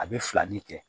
A bɛ filani kɛ